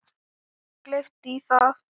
Og kleip í það.